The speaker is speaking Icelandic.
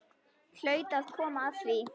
Hlaut að koma að því.